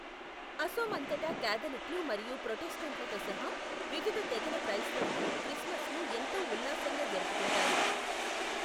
అసోమ్ అంతటా క్యాథలిక్లు మరియు ప్రొటెస్టెంట్లతో సహా వివిధ తెగల క్రైస్తవులు క్రిస్మస్ను ఎంతో ఉల్లాసంగా జరుపుకుంటారు.